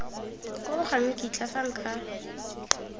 koo ga nkitla fa nka